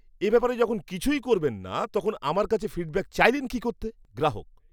এ ব্যাপারে যখন কিছুই করবেন না তখন আমার কাছে ফিডব্যাক চাইলেন কী করতে? গ্রাহক